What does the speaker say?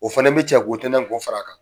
O fana bɛ cɛ k'o tƐntƐn tina k'o fara a kan,